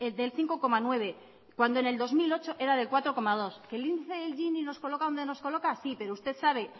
del cinco coma nueve cuando en el dos mil ocho era del cuatro coma dos que el índice de gini nos coloca donde nos coloca sí pero usted sabe